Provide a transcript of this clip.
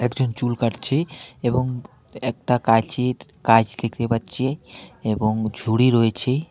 একজন চুল কাটছে এবং একটা কাঁচির কাঁইচ দেখতে পাচ্ছি এবং ঝুড়ি রয়েছে.